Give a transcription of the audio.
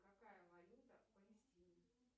какая валюта в палестине